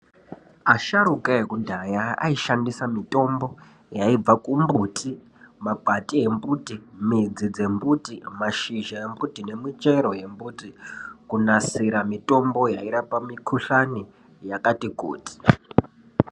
Asharuka ekudhaya aishandisa mitombo, yaibva kumbuti, makwati embuti, mudzi dzembuti, mashizha embuti nemichero yembuti kunasira mitombo yairapa mikhuhlani yakati kuti.